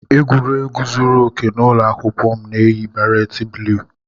Egwuregwu zuru oke n'ụlọ akwụkwọ m na-eyi beret blue